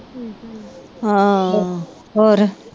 ਹਾਂ ਹੋਰ